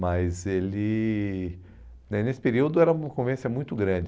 Mas ele, né nesse período, era uma convivência muito grande.